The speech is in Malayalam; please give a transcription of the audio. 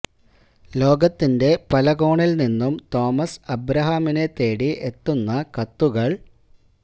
ലോകത്തിന്റെ പല കോണില് നിന്നും തോമസ് അബ്രഹാമിനെ തേടി എത്തുന്ന കത്തുകള്